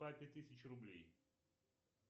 папе тысячу рублей